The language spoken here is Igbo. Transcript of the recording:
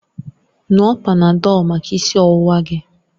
Ṅụọ Panadọlu maka isi ọwụwa gị!